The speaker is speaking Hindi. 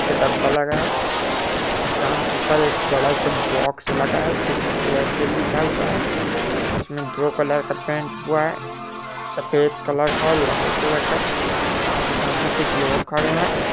एक डब्बा दुकान के ऊपर एक बॉक्स लगा है एयरटेल लिखा हुआ है इसमें दो कलर का पैंट हुआ है सफेद कलर और लाल कलर कादुकान के सामने कुछ लोग खड़े है।